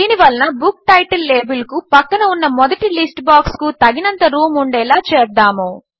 దీని వలన book title లేబిల్కు పక్కన ఉన్న మొదటి లిస్ట్ బాక్స్కు తగినంత రూం ఉండేలా చేద్దాము